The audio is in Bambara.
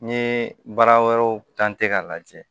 N ye baara wɛrɛw k'a lajɛ